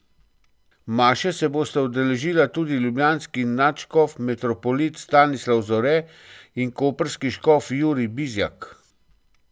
Maše se bosta udeležila tudi ljubljanski nadškof metropolit Stanislav Zore in koprski škof Jurij Bizjak.